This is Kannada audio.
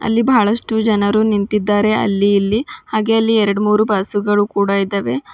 ಇಲ್ಲಿ ಬಹಳಷ್ಟು ಜನರು ನಿಂತಿದ್ದಾರೆ ಅಲ್ಲಿ ಇಲ್ಲಿ ಹಾಗೆ ಅಲ್ಲಿ ಎರಡು ಮೂರೂ ಬಸ್ಸು ಗಳು ಕೂಡ ಇದಾವೆ.